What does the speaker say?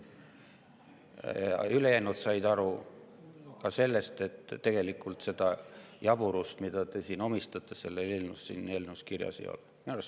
Ülejäänud said aru ka sellest, et tegelikult seda jaburust, mida te sellele eelnõule omistate, siin eelnõus kirjas ei ole.